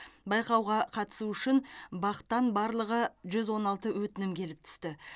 байқауға қатысу үшін бақ тан барлығы жүз он алты өтінім келіп түсті